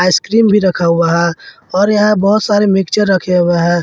Ice cream भी रखा हुआ है और यहां बहुत सारे मिक्सर रखे हुए हैं।